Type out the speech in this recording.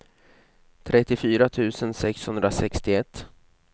trettiofyra tusen sexhundrasextioett